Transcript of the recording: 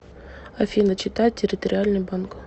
афина чита территориальный банк